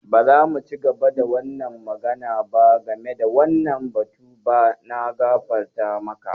Ba za mu ci gaba da magana game da wannan batu ba. Na gafarta maka.